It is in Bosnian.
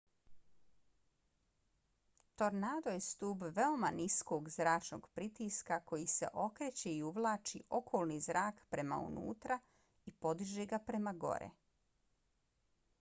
tornado je stub veoma niskog zračnog pritiska koji se okreće i uvlači okolni zrak prema unutra i podiže ga prema gore